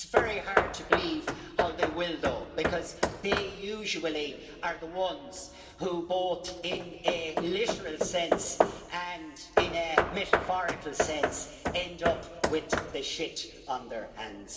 It's very hard to believe how they will, though, because they usually are the ones who both in a literal sense and in a metaphorical sense end up with the shit on their hands.